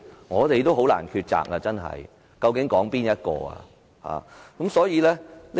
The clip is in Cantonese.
我們真的很難抉擇，究竟應該討論哪一項？